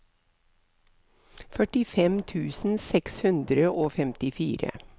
førtifem tusen seks hundre og femtifire